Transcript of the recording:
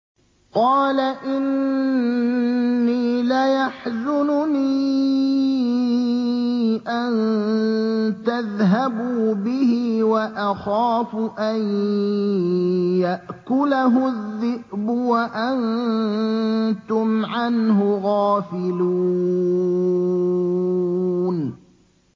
قَالَ إِنِّي لَيَحْزُنُنِي أَن تَذْهَبُوا بِهِ وَأَخَافُ أَن يَأْكُلَهُ الذِّئْبُ وَأَنتُمْ عَنْهُ غَافِلُونَ